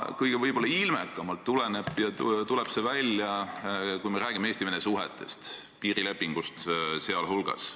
Kõige ilmekamalt tuleb see välja, kui me räägime Eesti-Vene suhetest, piirilepingust sealhulgas.